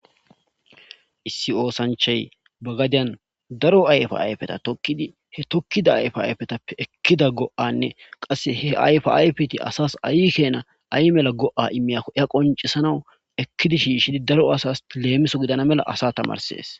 issi oosanchay bagadiyan daro ayfa ayfeta tokkidi he tokkida ayfa ayfetappe ekkida go'anne qasse he ayfa ayfeti asas ayi keena ay mela go7a imiyakko ya qoncesanaw ekkidi shiishidi daro asas leemiso gidana mela asa tamarsees